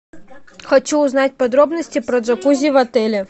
хочу узнать подробности про джакузи в отеле